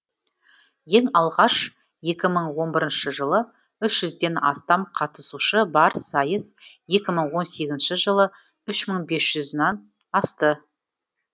ең алғаш екі мың он екінші жылы үш жүзден астам қатысушы бар сайыс екі мың он сегізінші жылы үш мың бес жүзінан асты